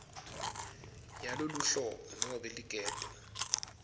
yaloluhlobo nobe ligede